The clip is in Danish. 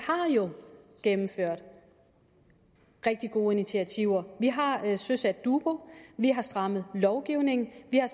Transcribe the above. jo har gennemført rigtig gode initiativer vi har søsat dubu vi har strammet lovgivningen vi har